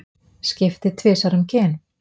Skipti tvisvar um kyn